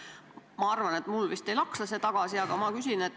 Ma arvan, et mulle vist ei laksa see küsimus tagasi.